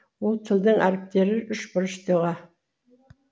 ол тілдің әріптері үшбұрыш доға